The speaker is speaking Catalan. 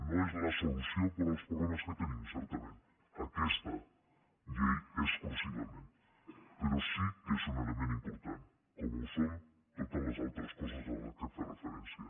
no és la solució per als problemes que tenim certament aquesta llei exclusivament però sí que és un element important com ho són totes les altres coses a què he fet referència